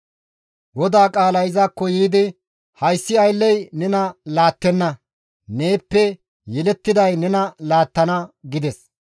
GODAA qaalay izakko yiidi, «Hayssi aylley nena laattenna; neeppe yelettiday nena laattana» gides.